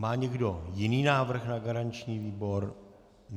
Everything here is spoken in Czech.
Má někdo jiný návrh na garanční výbor?